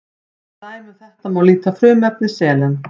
sem dæmi um þetta má líta á frumefni selen